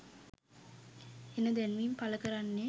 එන දැන්වීම් පළ කරන්නේ